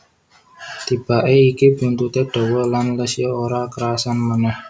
Tibake iki buntute dawa lan Lesya ora kerasan manèh